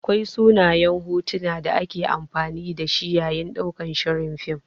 Akwai sunayen hotuna da ake amfani da shi yayin ɗaukan shirin fim.